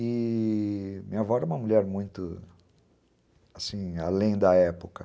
E... minha avó era uma mulher muito...assim, além da época.